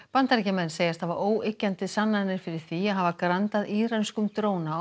Bandaríkjamenn segjast hafa óyggjandi sannanir fyrir því að hafa grandað írönskum dróna á